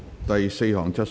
第四項質詢。